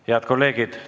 Head kolleegid!